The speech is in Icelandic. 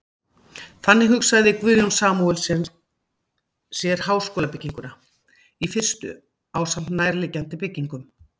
Þannig hugsaði Guðjón Samúelsson sér háskólabygginguna í fyrstu ásamt nærliggjandi byggingum.